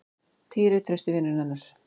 Týri, trausti vinurinn hennar.